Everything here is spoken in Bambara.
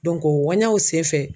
o ŋuwanɲanw senfɛ